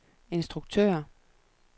instruktør